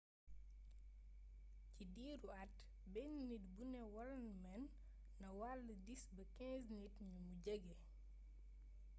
ci diru at benn nit bu nu wall mën na wàll 10 ba 15 nit ñumu jége